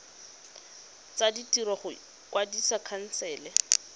tsa ditiro go kwadisa khansele